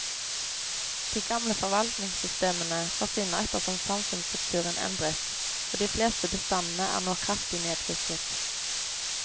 De gamle forvaltningssystemene forsvinner ettersom samfunnsstrukturen endres, og de fleste bestandene er nå kraftig nedfisket.